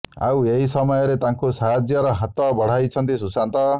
ଆଉ ଏହି ସମୟରେ ତାଙ୍କୁ ସାହାଯ୍ୟର ହାତ ବଢାଇଛନ୍ତି ସୁଶାନ୍ତ